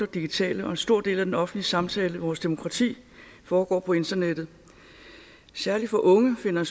digitale og en stor del af den offentlige samtale og vores demokrati foregår på internettet særligt for unge finder en